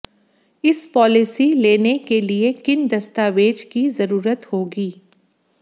इस पॉलिसी लेने के लिए किन दस्तावेज की जरूरत होगी